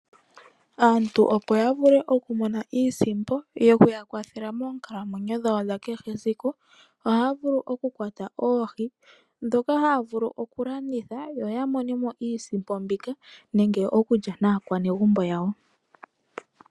Aantu opo yavule okumona iisimpo yoku ya kwathela moonkalamwenyo dhawo dha kehe esiku ohaa vulu oku kwata oohi, dhoka haa vulu okulanditha yoya monemo iisimpo mbika, nenge okulya naakwanegumbo yawo.